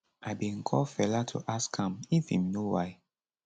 i bin call fela to ask am if im know why